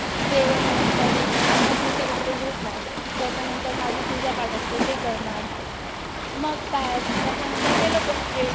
जेवण बिवन करून मग मी तर इकडे झोपणार. त्याच्यानंतर माझी पूजा पाठ असते ते करणार, मग काय? त्याच्यानंतर ते लोकं पण येईल,